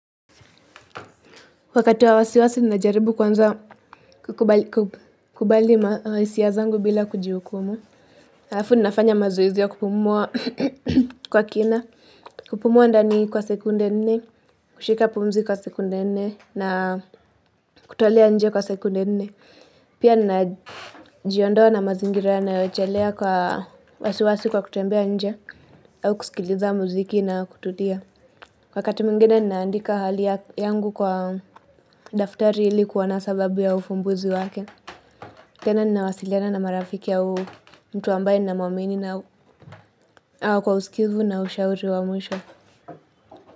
Wakati wa wasiwasi ninajaribu kwanza kukubali mahisia zangu bila kujihukumu Afu ninafanya mazoezi ya kupumua kwa kina kupumua ndani kwa sekunde nne kushika pumzi kwa sekunde nne na kutolea nje kwa sekunde nne Pia ninajiondoa na mazingira yanayochelea kwa wasiwasi kwa kutembea nje au kusikiliza muziki na kututia wakati mwingine ninaandika hali yangu kwa daftari ili kuona sababu ya ufumbuzi wake tena ninawasiliana na marafiki au mtu ambaye ninamuamini na au kwa usikivu na ushauri wa mwisho.